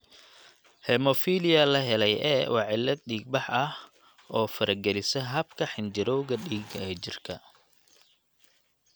Hemophilia la helay A waa cillad dhiig-bax oo faragelisa habka xinjirowga dhiigga ee jirka.